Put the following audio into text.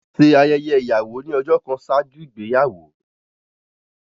Wọ́n ṣe ayẹyẹ ìyàwó ní ọjọ́ kan ṣáájú ìgbéyàwó